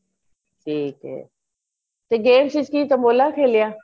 ਠੀਕ ਏ ਤੇ games ਚ ਕੀ tambola ਖੇਲਿਆ